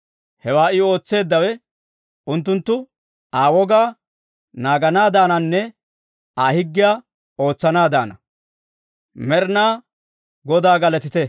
Hewaa I ootseeddawe unttunttu Aa wogaa naaganaadaananne Aa higgiyaa ootsanaadaana. Med'inaa Godaa galatite!